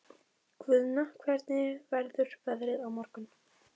Guðna, hvernig verður veðrið á morgun?